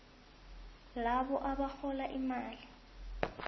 labo abarhola imali